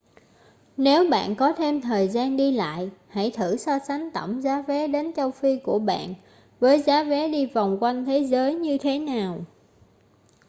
nếu bạn có thêm thời gian đi lại hãy thử so sánh tổng giá vé đến châu phi của bạn với giá vé đi vòng quanh thế giới như thế nào